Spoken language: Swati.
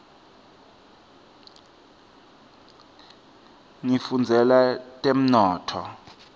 ngifundzela temnotfo